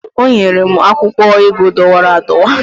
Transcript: o nyere m akwụkwọ ego dọwara adọwa